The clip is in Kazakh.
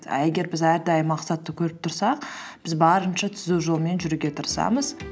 а егер біз әрдайым мақсатты көріп тұрсақ біз барынша түзу жолмен жүруге тырысамыз